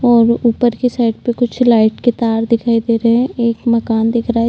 और ऊपर के साइड पे कुछ लाइट के तार दिखाई दे रहे हैं। एक मकान दिख रहा है।